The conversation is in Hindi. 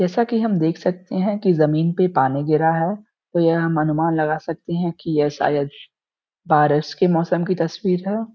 जैसा कि हम देख सकते हैं कि जमीन पर पानी गिरा है तो यह हम अनुमान लगा सकते हैं कि यह शायद बारिश के मौसम की तस्वीर है।